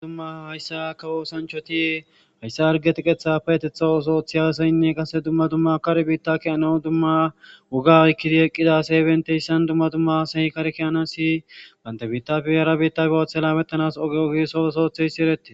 Duma dumma hayssa ka woosanchoti hayssa arge tiqetha payetetha osoothi aasaynne qase dumma dumma kar biitta ki ana dumma woga oykkidi eqqida se benteyssan dumma dumma sehikarkiyana si bantebiita fiyera biitta gawathe laamettanas oge ogi soosootheyssi eretti